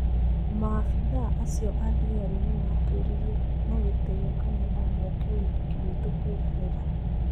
Maabithaa acio athigari nĩmatũririe na gĩtĩo kana no moke ũhĩki wĩtũkwĩrorera.